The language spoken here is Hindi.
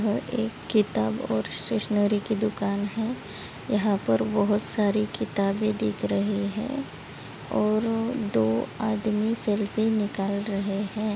यह एक किताब और स्टेशनरी की दुकान है यहा पर बहुत सारी किताबे दिख रही है और दो आदमी सेल्फी निकाल रहे है।